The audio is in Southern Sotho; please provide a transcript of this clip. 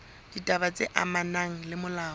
ditaba tse amanang le molao